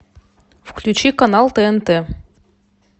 включи канал тнт